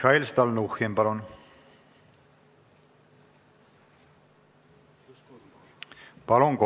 Mihhail Stalnuhhin, palun!